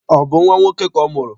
Ọ bụ nnwa nwoke ka ọ mụrụ?